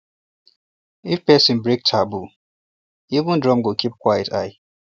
if person break taboo even drum go keep quiet l